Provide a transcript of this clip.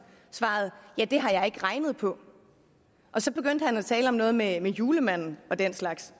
sagde det har jeg ikke regnet på og så begyndte han at tale om noget med julemanden og den slags